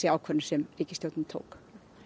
ákvörðun sem ríkisstjórn tók